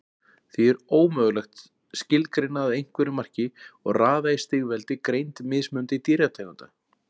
Því er ómögulegt skilgreina að einhverju marki og raða í stigveldi greind mismunandi dýrategunda.